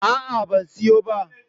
A'a, ban siyo ba.